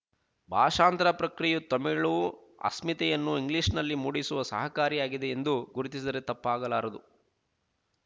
ಭಾಷಾಂತರ ಪ್ರಕ್ರಿಯೆಯು ತಮಿಳು ಅಸ್ಮಿತೆಯನ್ನು ಇಂಗ್ಲೀಷನಲ್ಲಿ ಮೂಡಿಸಲು ಸಹಕಾರಿಯಾಗಿದೆ ಎಂದು ಗುರುತಿಸಿದರೆ ತಪ್ಪಾಗಲಾರದು